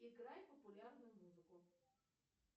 играй популярную музыку